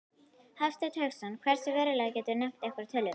Hafsteinn Hauksson: Hversu verulega, geturðu nefnt einhverjar tölur?